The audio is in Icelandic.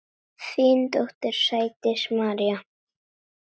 Þín dóttir, Sædís María.